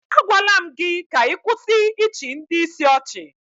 Agwaala m gị ka ị kwụsị ịchị ndị ìsì ọchị